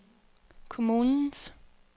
kommunens